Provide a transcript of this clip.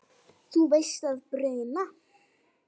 Þú veist að bruna